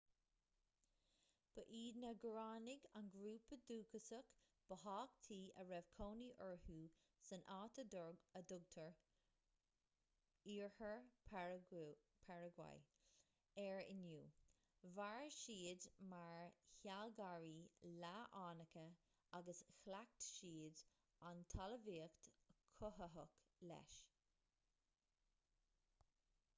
ba iad na guaránaigh an grúpa dúchasach ba thábhachtaí a raibh cónaí orthu san áit a dtugtar oirthear pharagua air inniu mhair siad mar shealgairí leath-fhánacha agus chleacht siad an talmhaíocht chothaitheach leis